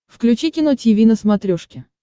включи кино тиви на смотрешке